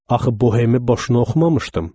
Axı Bohemi boşuna oxumamışdım.